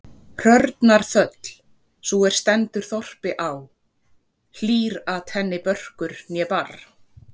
Hrörnar þöll, sú er stendur þorpi á, hlýr-at henni börkur né barr.